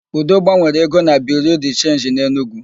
Udo gbanwere ego na Biriu de Chenji dị n'Enugu.